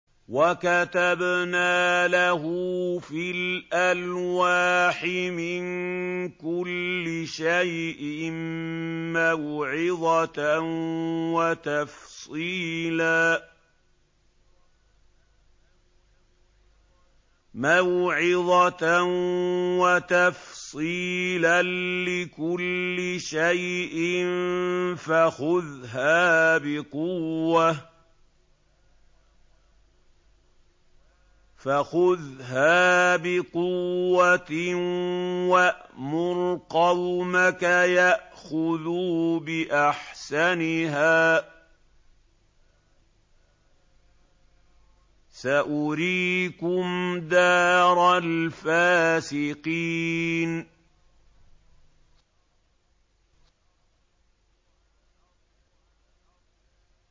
وَكَتَبْنَا لَهُ فِي الْأَلْوَاحِ مِن كُلِّ شَيْءٍ مَّوْعِظَةً وَتَفْصِيلًا لِّكُلِّ شَيْءٍ فَخُذْهَا بِقُوَّةٍ وَأْمُرْ قَوْمَكَ يَأْخُذُوا بِأَحْسَنِهَا ۚ سَأُرِيكُمْ دَارَ الْفَاسِقِينَ